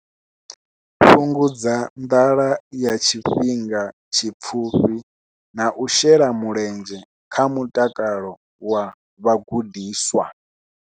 Fhungudza nḓala ya tshifhinga tshipfufhi na u shela mulenzhe kha mutakalo wa vhagudiswa.